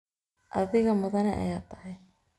Adhiga mudane ayathy.